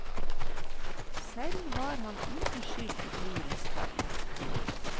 Selv var han uten skyld i brorens fall.